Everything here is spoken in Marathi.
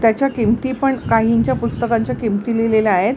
त्याच्या किंमती पण काहींच्या पुस्तकांच्या किंमती लिहिलेल्या आहेत.